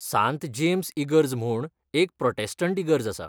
सांत जेम्स इगर्ज म्हूण एक प्रोटॅस्टंट इगर्ज आसा.